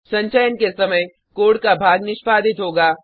संचयन के समय कोड का भाग निष्पादित होगा